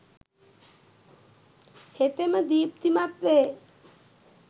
හෙතෙම දීප්තිමත් වේ.